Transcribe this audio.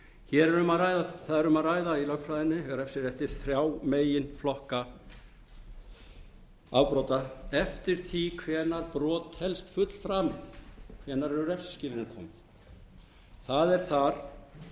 vel við það er um að ræða í lögfræðinni í refsirétti þrjá meginflokka afbrota eftir því hvenær brot telst fullframið hvenær eru refsiskilyrðin komin það er þar talað